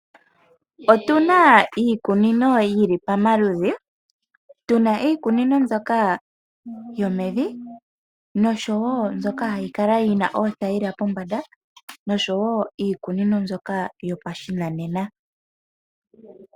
Otuna iikunino yili pamaludhi, tuna iikunino mbyoka yomevi noshowoo mbyoka hayi kala yina oothayila pombanda noshowoo iikunino mbyoka yopashinanena.